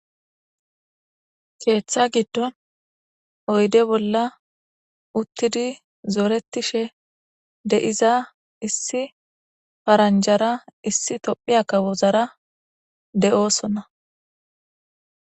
keeththa giddon oyde bolla uttidi zoretishe de'iza issi paranjara issi tophiya kawozara de'osona